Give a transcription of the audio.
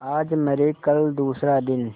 आज मरे कल दूसरा दिन